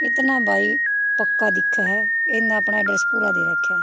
इतना भाई पक्का दिखह ह इन न अपणा एड्रैस पूरा दे राख्या ह।